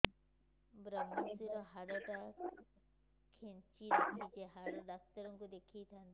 ଵ୍ରମଶିର ହାଡ଼ ଟା ଖାନ୍ଚି ରଖିଛି ହାଡ଼ ଡାକ୍ତର କୁ ଦେଖିଥାନ୍ତି